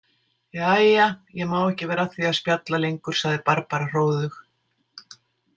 Jæja, ég má ekki vera að því að spjalla lengur, sagði Barbara hróðug.